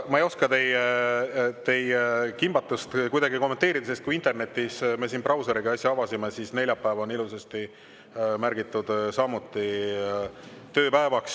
Ma ei oska teie kimbatust kuidagi kommenteerida, sest me siin äsja avasime internetis brauseris ning neljapäev on samuti ilusasti märgitud tööpäevaks.